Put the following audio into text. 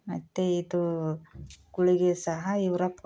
ಮತ್ತೆ ಇದು ಗುಳಿಗೆ ಸಹಾ ಇವರ